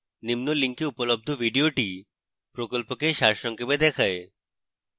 নিম্ন link উপলব্ধ video প্রকল্পকে সারসংক্ষেপে দেখায়